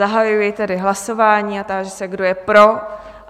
Zahajuji tedy hlasování a táži se, kdo je pro?